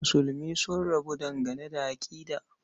Musulmi sun rabu dangane da aƙida.